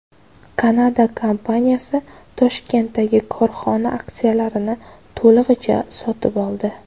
Kanada kompaniyasi Toshkentdagi korxona aksiyalarini to‘lig‘icha sotib oldi.